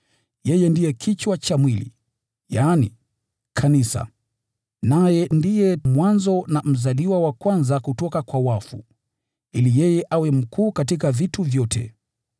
Yeye ndiye kichwa cha mwili, yaani kanisa, naye ndiye mwanzo na mzaliwa wa kwanza kutoka kwa wafu, ili yeye awe mkuu katika vitu vyote.